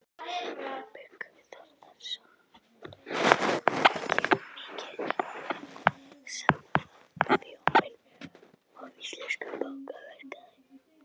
Þorbjörn Þórðarson: Er ekki mikil samþjöppun á íslenskum bankamarkaði?